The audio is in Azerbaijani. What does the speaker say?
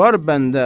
Var bəndə.